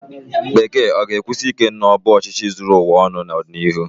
Bekee ga-ekwusi ike na ọ bụ ọchịchị zuru ụwa ọnụ n'ọdịnihu?